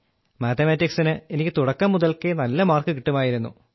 മാത്തമാറ്റിക്സിന് എനിക്ക് തുടക്കം മുതൽക്കേ നല്ല മാർക്കു കിട്ടുമായിരുന്നു